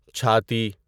چھاتی